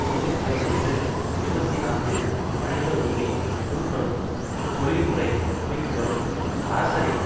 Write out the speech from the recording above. திங்கட்கிழமையன்று இருபத்தி நான்கு மனித உரிமை குழுக்களும் தொழில்முறை அமைப்புக்களும் அரசரின்